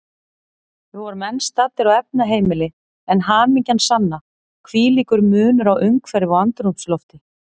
Við vorum enn staddir á efnaheimili, en hamingjan sanna, hvílíkur munur á umhverfi og andrúmslofti.